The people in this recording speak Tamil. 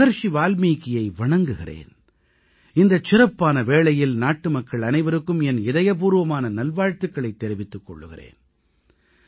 நான் மஹரிஷி வால்மீகியை வணங்குகிறேன் இந்தச் சிறப்பான வேளையில் நாட்டுமக்கள் அனைவருக்கும் என் இதயபூர்வமான நல்வாழ்த்துக்களைத் தெரிவித்துக் கொள்கிறேன்